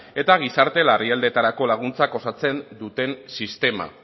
eta gizarte larrialdietarako laguntzak osatzen duten sistema